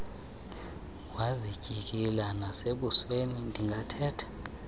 wazityikila nasebusweni ndingathetha